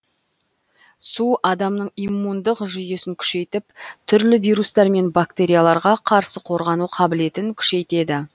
су адамның иммундық жүйесін күшейтіп түрлі вирустар мен бактерияларға қарсы қорғану қабілетін күшейтеді